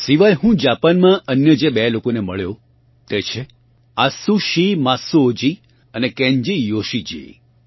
આ સિવાય હું જાપાનમાં અન્ય જે બે લોકોને મળ્યો તે છે આત્સુશિ માત્સુઓજી અને કેન્જી યોશીજી